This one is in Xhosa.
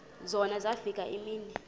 zona zafika iimini